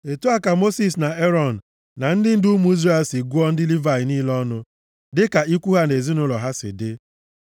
Otu a ka Mosis na Erọn na ndị ndu ụmụ Izrel si gụọ ndị Livayị niile ọnụ dịka ikwu ha na ezinaụlọ ha si dị.